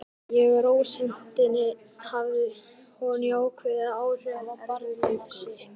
Með rósemdinni hafði hún jákvæð áhrif á barnabarn sitt.